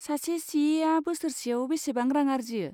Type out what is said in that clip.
सासे सि एआ बोसोरसेयाव बेसेबां रां आर्जियो?